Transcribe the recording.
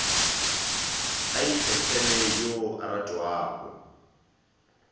a ikgethele yo a ratwago